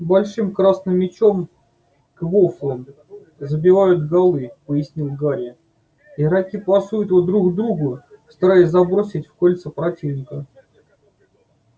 большим красным мячом квоффлом забивают голы пояснил гарри игроки пасуют его друг другу стараясь забросить в кольца противника